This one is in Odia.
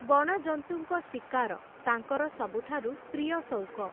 ବଣଜନ୍ତୁଙ୍କ ଶିକାର, ତାଙ୍କର ସବୁଠାରୁ, ପ୍ରିୟ ସଉକ ।